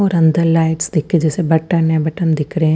उर अंदर लाइट्स दिख के जेसे बटन ह बटन दिख रही है।